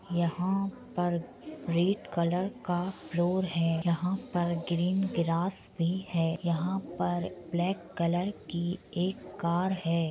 यहां पर red colour का फ्लोर है। यहां पर ग्रीन ग्रास भी है। यहां पर ब्लैक कलर की एक कार है।